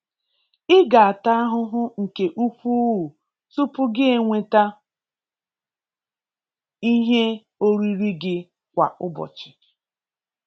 Ị ga-ata ahụhụ nke ukwuu tupu gị enweta ihe oriri gị kwa ụbọchị.